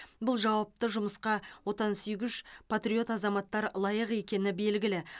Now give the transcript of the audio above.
бұл жауапты жұмысқа отансүйгіш патриот азаматтар лайық екені белгілі